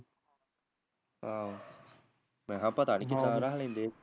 ਆਹੋ ਮੈਂਹਾ ਪਤਾ ਨੀ ਕਿਦਾ ਰੱਖ ਲੈਂਦੇ